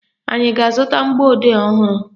Anyị a ga-azụta mgbọodee ọhụrụ?